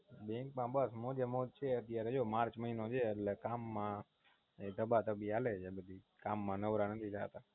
Bank માં બસ મોજે મોજ છે અત્યારે જો March મહિનો છે એટલે જો કામ માં ધબા ધબી હાલે છે બધી કામ માં નવરા નથી થતા